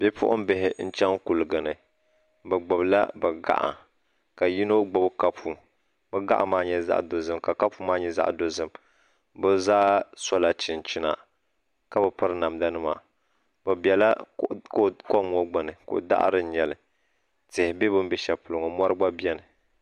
Bipuɣimbihi n chaŋ kuliga ni bɛ gbibila bɛ gaɣa ka yino gbibi kapu bɛ gaɣa maa nyɛ dozim ka kapu maa kapu maa nyɛ zaɣa dozim bɛ zaa sola chinchina ka bi piri namda nima bɛ biɛla kom ŋɔ gbini ko'daɣari n nyɛli tihi be bini be sheli polo ŋɔ mori biɛni.